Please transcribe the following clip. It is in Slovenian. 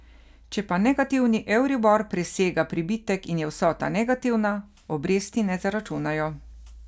Če pa negativni euribor presega pribitek in je vsota negativna, obresti ne zaračunajo.